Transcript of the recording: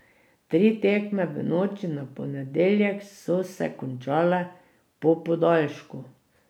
Tri tekme v noči na ponedeljek so se končale po podaljšku.